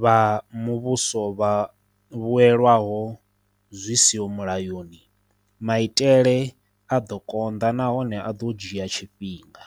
vha muvhuso vha vhuelwaho zwi siho mulayoni, maitele a ḓo konḓa nahone a ḓo dzhia tshifhinga.